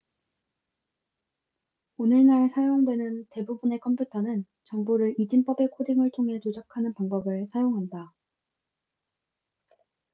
오늘날 사용되는 대부분의 컴퓨터는 정보를 이진법의 코딩을 통해 조작하는 방법을 사용한다